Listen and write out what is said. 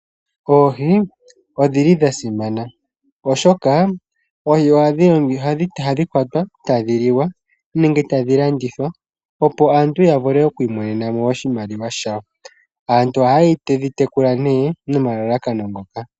Oohi odhili dha simana oshoka oohi ohadhi kwatwa e tadhi liwa nenge tadhi landithwa, opo aantu ya vule okwi imonena mo oshimaliwa shawo. Aantu ohaye dhi tekula nee nomalalakano ngoka.